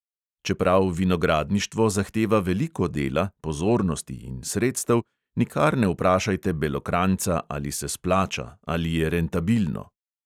Čeprav vinogradništvo zahteva veliko dela, pozornosti in sredstev, nikar ne vprašajte belokranjca, ali se splača, ali je rentabilno.